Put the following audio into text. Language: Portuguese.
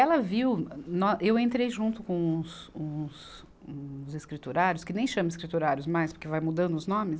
viu na, eu entrei junto com uns, uns, uns escriturários, que nem chama escriturários mais, porque vai mudando os nomes.